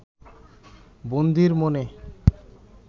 বন্দীর মনে